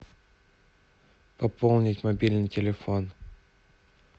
пополнить мобильный телефон